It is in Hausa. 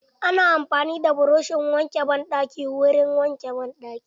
Ana amfani da buroshin wanke banɗaki wurin wanke banɗaki.